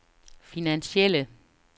finansielle